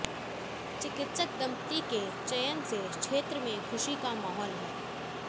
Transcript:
चिकित्सक दंपति के चयन से क्षेत्र में खुशी का माहौल है